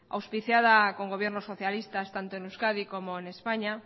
auspiciada con gobiernos socialistas tanto en euskadi como en españa